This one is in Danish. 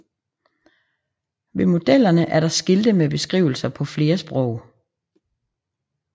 Ved modellerne er der skilte med beskrivelser på flere sprog